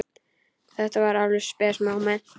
Þetta var alveg spes móment.